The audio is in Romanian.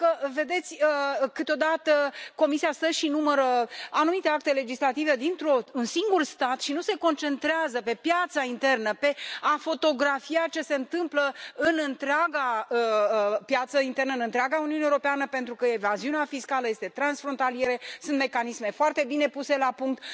Pentru că, câteodată Comisia stă și numără anumite acte legislative dintr un singur stat și nu se concentrează pe piața internă, pe a fotografia ce se întâmplă în întreaga piață internă, în întreaga Uniune Europeană, pentru că evaziunea fiscală este transfrontalieră, sunt mecanisme foarte bine puse la punct.